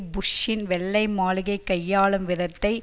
புஷ்ஷின் வெள்ளை மாளிகை கையாளும் விதத்தை